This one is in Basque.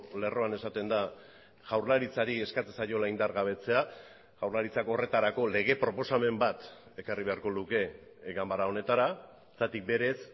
lerroan esaten da jaurlaritzari eskatzen zaiola indargabetzea jaurlaritzak horretarako lege proposamen bat ekarri beharko luke ganbara honetara zergatik berez